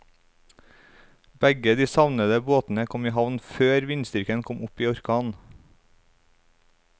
Begge de savnede båtene kom i havn før vindstyrken kom opp i orkan.